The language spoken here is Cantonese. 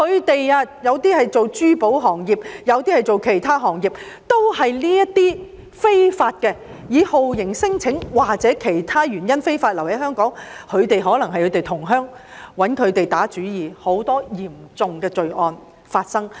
他們從事珠寶或其他行業，被一些以酷刑聲請或其他原因非法留港的人打主意，可能是他們的同鄉，發生了很多嚴重的罪案。